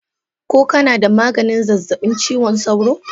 Ko kana da maganin zazzabin cizon sauro?